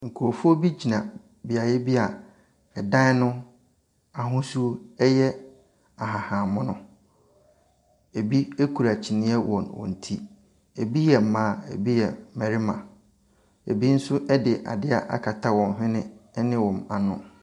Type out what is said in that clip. Nkrɔfoɔ bi gyina bea bi a ɛdan no ahosu yɛ ahahamono. Ebi kyiniiɛ wɔ wɔn ti. Ebi yɛ mmaa, ebi yɛ mmarima. Ebi nso de adeɛ akata wɔn ho ne wɔn ano.